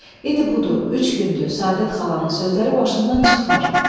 İndi budur, üç gündür Səadət xalanın sözləri başımdan çıxmır.